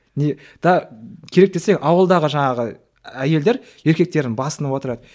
керек десең ауылдағы жаңағы әйелдер еркектерін басынып отырады